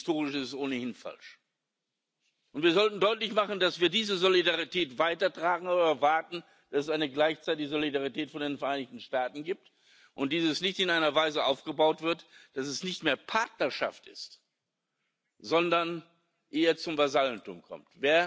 Und historisch ist es ohnehin falsch. Wir sollten deutlich machen, dass wir diese Solidarität weitertragen, aber erwarten, dass es gleichzeitig eine Solidarität von den Vereinigten Staaten gibt und diese nicht in einer Weise aufgebaut wird, dass sie nicht mehr Partnerschaft ist, sondern eher zum Vasallentum verkommt.